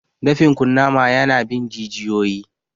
Dafin kunnama ya na bin jijiyoyi